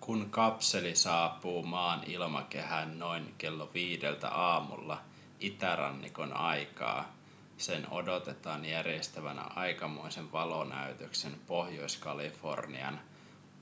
kun kapseli saapuu maan ilmakehään noin kello viideltä aamulla itärannikon aikaa sen odotetaan järjestävän aikamoisen valonäytöksen pohjois-kalifornian